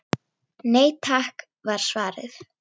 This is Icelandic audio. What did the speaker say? Nei takk var svarið.